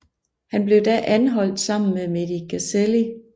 Han blev da anholdt sammen med Mehdi Ghezali